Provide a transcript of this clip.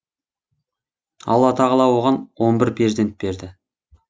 алла тағала оған он бір перзент берді